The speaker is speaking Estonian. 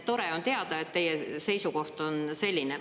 Tore on teada, et teie seisukoht on selline.